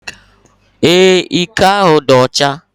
Ee, iko ahụ dị ọcha.